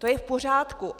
To je v pořádku.